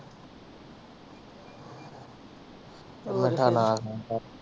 ਮਿੱਠਾ ਨਾ ਖਾਇਆ ਕਰ।